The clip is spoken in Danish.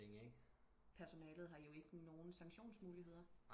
Personalet har jo ikke nogen sanktionsmuligheder